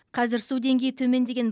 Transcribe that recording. қазір су деңгейі төмендеген